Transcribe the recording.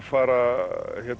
fara